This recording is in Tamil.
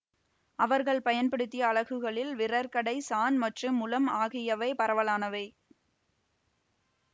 அவர்கள் பயன்படுத்திய அலகுகளுள் விரற்கடை சாண் மற்றும் முழம் ஆகியவை பரவலானவை